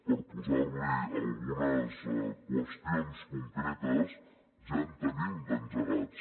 per posar li algunes qüestions concretes ja en tenim d’engegats